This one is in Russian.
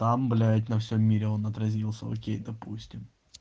там блять на всем мире он отразился окей допустим